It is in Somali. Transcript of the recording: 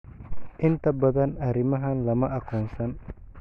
Inta badan arrimahan lama aqoonsan.